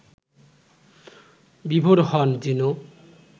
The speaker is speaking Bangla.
বিভোর হন যেনো